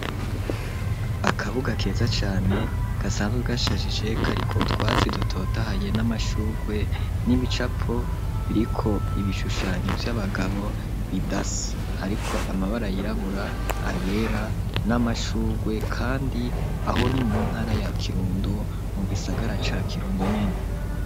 Akabuga keza cane gasanzwe gashajije k ariko twazi dutotahaye n'amashugwe n'ibicapo biriko ibishushanyo by'abagabo bidas ariko amabara yirabura ayera n'amashugwe kandi aho ni mu ntara ya kirundo mu gisagara ca kirundo nyene.